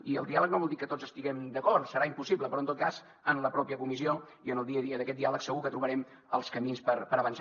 i el diàleg no vol dir que tots estiguem d’acord serà impossible però en tot cas en la pròpia comissió i en el dia a dia d’aquest diàleg segur que trobarem els camins per avançar